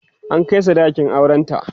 an Kai sadakin auran ta